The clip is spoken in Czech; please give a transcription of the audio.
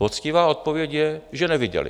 Poctivá odpověď je, že neviděli.